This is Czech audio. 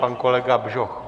Pan kolega Bžoch?